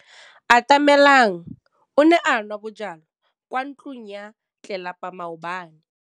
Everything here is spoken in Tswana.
Atamelang o ne a nwa bojwala kwa ntlong ya tlelapa maobane.